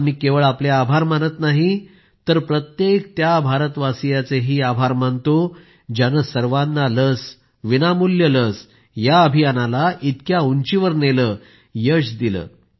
आज मी केवळ आपले आभार मानत नाही तर प्रत्येक त्या भारतवासियाचे आभार मानतोज्यानं सर्वाना लस विनामूल्य लस या अभियानाला इतक्या उंचीवर नेलं यश दिलं